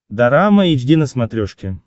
дорама эйч ди на смотрешке